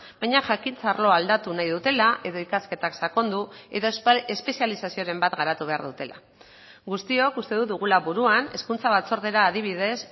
baina jakintza arloa aldatu nahi dutela edo ikasketak sakondu edo espezializazioren bat garatu behar dutela guztiok uste dut dugula buruan hezkuntza batzordera adibidez